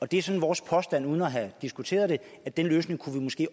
det er sådan vores påstand uden at have diskuteret det at den løsning kunne vi måske